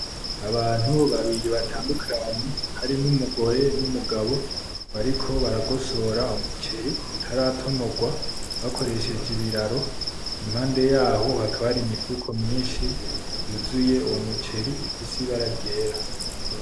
Abantu babiri batandukanye harimwo umugore n,Umugabo bariko baragosora umuceri utaratonogwa bakoresheje ibiraro impande yaho hakaba hari imifuko myinshi yuzuye umuceri ifise ibara ryera .